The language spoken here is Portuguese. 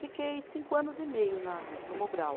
Fiquei cinco anos e meio na, no Mobral.